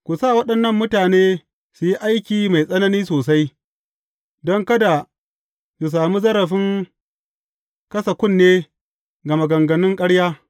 Ku sa waɗannan mutane su yi aiki mai tsanani sosai, don kada su sami zarafin kasa kunne ga maganganun ƙarya.